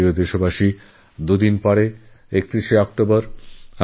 আমার প্রিয়দেশবাসী আর দুদিন পরে ৩১শে অক্টোবর